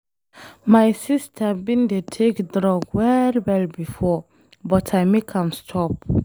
My sister bin dey take drug well well before but I make am stop.